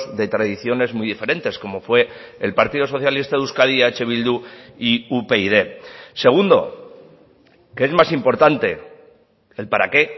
de tradiciones muy diferentes como fue el partido socialista de euskadi eh bildu y upyd segundo que es más importante el para qué